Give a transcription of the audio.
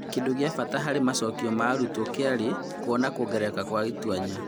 Kĩndũ gĩa bata harĩ macokio ma arutwo kĩrarĩ kuona kuongereka gwa tũanya.